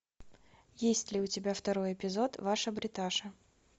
есть ли у тебя второй эпизод ваша бриташа